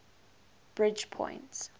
bridgepoint